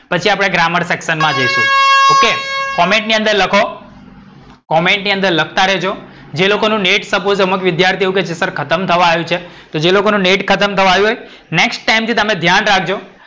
પછી આપણે grammar section માં જઇસુ OK comment ની અંદર લખો. comment ની અંદર લખતા રેજો. જે લોકોનું નેટ સપોસ વિધ્યાર્થીસત્ર ખતમ થવા આયુ છે. તો જે લોકોનું નેટ ખતમ થવા આયુ હોય next time થી તમે ધ્યાન રાખજો.